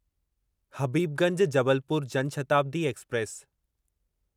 Habibganj Jabalpur Jan Shatabdi express